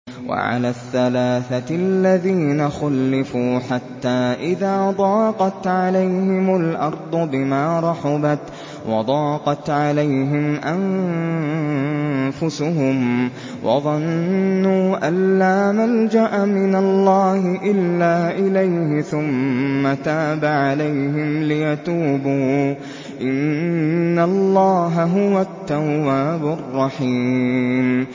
وَعَلَى الثَّلَاثَةِ الَّذِينَ خُلِّفُوا حَتَّىٰ إِذَا ضَاقَتْ عَلَيْهِمُ الْأَرْضُ بِمَا رَحُبَتْ وَضَاقَتْ عَلَيْهِمْ أَنفُسُهُمْ وَظَنُّوا أَن لَّا مَلْجَأَ مِنَ اللَّهِ إِلَّا إِلَيْهِ ثُمَّ تَابَ عَلَيْهِمْ لِيَتُوبُوا ۚ إِنَّ اللَّهَ هُوَ التَّوَّابُ الرَّحِيمُ